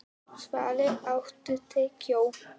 Svali, áttu tyggjó?